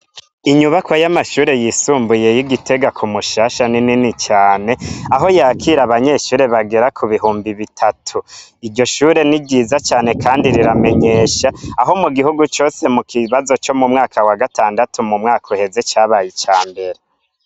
Inyubako y'amashure yisumbuyey'igitega ku mushasha n'inini cane aho yakira abanyeshure bagera ku bihumbi bitatu iryo shure ni ryiza cane, kandi riramenyesha aho mu gihugu cose mu kibazo co mu mwaka wa gatandatu mu mwaka uheze cabaye ica mbere.